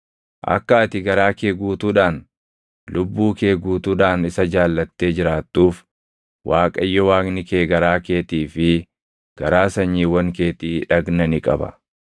Akka ati garaa kee guutuudhaan, lubbuu kee guutuudhaan isa jaallattee jiraattuuf Waaqayyo Waaqni kee garaa keetii fi garaa sanyiiwwan keetii dhagna ni qaba.